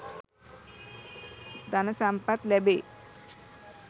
ධන සම්පත් ලැබේ.